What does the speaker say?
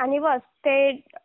आणि बस ते